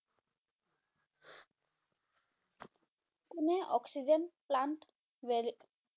কোনে oxygen plant